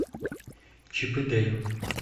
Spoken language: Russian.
чип и дейл